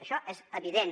això és evident